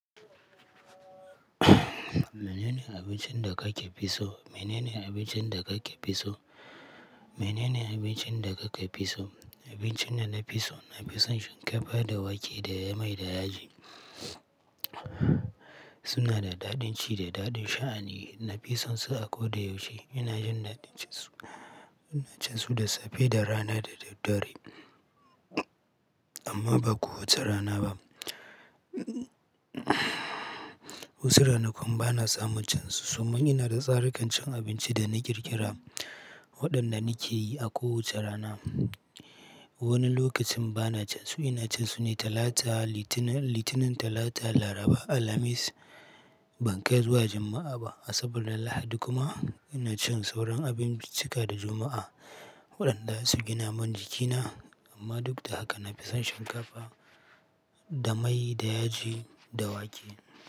Mene ne abincin da kake fi so? Mene ne abincin da kake fi so? Mene ne abincin da kake fi so? Abincin da na fi so, na fi son shinkafa da wake da mai da yaji. Suna da daɗin ci da daɗin sha'ani. Na fi son su a ko da yaushe. Ina jin daɗin cin su. Ina cin su da safe, da rana da dare, amma ba kowace rana ba. Wasu ranakun bana samun cin su sannan ina da tsarikan cin abinci da na ƙirƙira waɗanda na ke yi a kowace rana. Wani lokacin bana cin su. Ina cin su ne Talata, Litinin, Talata, Laraba, Alhamis. Ban kai zuwa Juma'a ba asabar Lahadi kuma ina cin sauran abinci cika da Juma'a waɗanda zasu gina min jikina. Amma duk da haka na fi son shinkafa da mai da yaji da wake.